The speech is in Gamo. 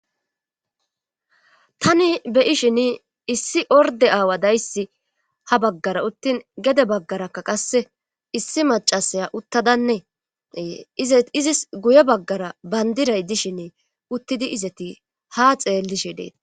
Tani be7ishin issi orde aawa dayssi ha baggara uttin gede baggaraka qasse issi macasaya uttadaneeee izis guye baggara bandiray dishinne uttidi izati ha xeellishe deete.